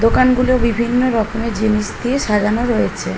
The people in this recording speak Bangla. দোকানগুলো বিভিন্ন রকমের জিনিস দিয়ে সাজানো রয়েছে ।